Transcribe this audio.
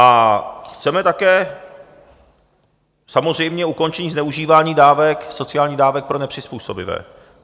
A chceme také samozřejmě ukončení zneužívání dávek, sociálních dávek pro nepřizpůsobivé.